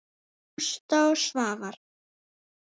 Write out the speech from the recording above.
Ásta og Svafar.